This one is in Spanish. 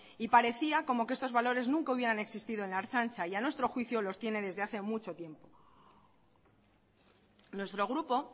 y parecía como que estos valores nunca hubieran existido en la ertzaintza y a nuestro juicio los tiene desde hace mucho tiempo nuestro grupo